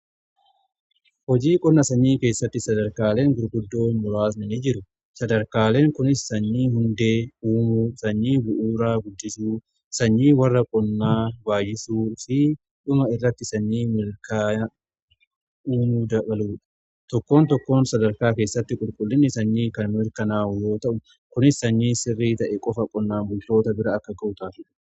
Hojii qonna sanyii keessatti sadarkaaleen gurguddoo muraasnin jiru sadarkaaleen kunis sanyii hundee uumuu sanyii bu'uuraa guddisuu sanyii warra qonnaa baayyisuu fi dhuma irratti sanyii milkaa uumuu dabaluudha tokkoon tokkoon sadarkaa keessatti qulqullinni sanyii kan merkanaa'u yoo ta'u kunis sanyii sirrii ta'e qofa qonnaa bultoota bira akka ga'u taasifama.